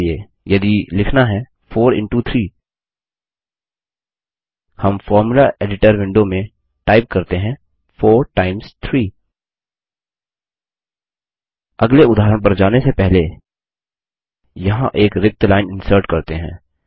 उदाहरण के लिए यदि लिखना है 4 इंटो 3 हम फोर्मुला एडिटर विंडो में टाइप करते हैं 4 टाइम्स 3 अगले उदाहरण पर जाने से पहले यहाँ एक रिक्त लाइन इन्सर्ट करते हैं